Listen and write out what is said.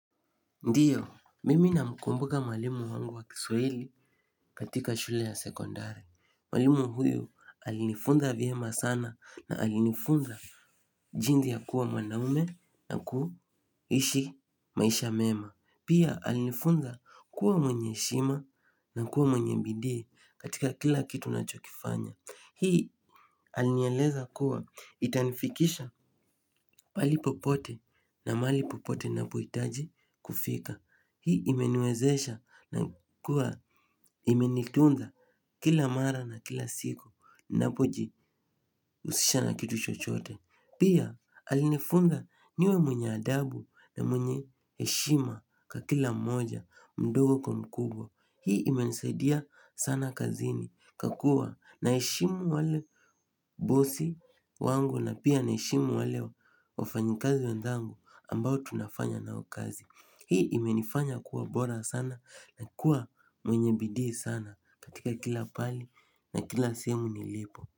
Ndiyo, mimi namkumbuka mwalimu wangu wa kiswahili katika shule ya sekondari. Mwalimu huyu alinifunza vyema sana na alinifunza jinsi ya kuwa mwanaume na kuishi maisha mema. Pia alinifunza kuwa mwenye heshima na kuwa mwenye bidii katika kila kitu nachokifanya. Hii alinieleza kuwa itanifikisha pahali popote na mahali popote napohitaji kufika. Hii imeniwezesha na kuwa imenitunza kila mara na kila siku napojihusisha na kitu chochote. Pia alinifunza niwe mwenye adabu na mwenye heshima kwa kila mmoja mdogo kwa mkubwa. Hii imenisadia sana kazini kwa kuwa naheshimu wale bosi wangu na pia naheshimu wale wafanyikazi wenzangu ambao tunafanya nao kazi. Hii imenifanya kuwa bora sana na kuwa mwenye bidii sana katika kila pahali na kila sehemu nilipo.